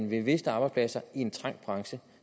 vil miste arbejdspladser i en trængt branche